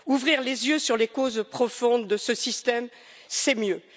Ouvrir les yeux sur les causes profondes de ce système, c'est mieux.